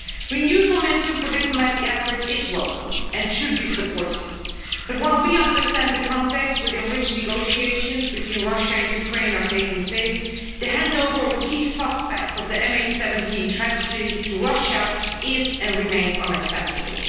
Renewed momentum for diplomatic efforts is welcome and should be supported, but while we understand the context within which negotiations between Russia and Ukraine are taking place, the handover of a key suspect of the MH17 tragedy to Russia is, and remains, unacceptable.